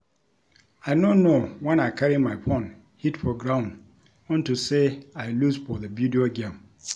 I no know wen I carry my phone hit for ground unto say I lose for the video game